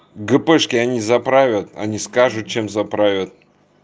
гепешки они за правят они скажут чем за правят